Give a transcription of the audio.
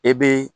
E bɛ